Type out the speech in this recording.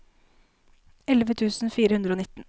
elleve tusen fire hundre og nitten